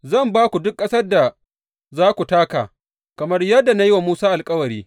Zan ba ku duk ƙasar da za ku taka, kamar yadda na yi wa Musa alkawari.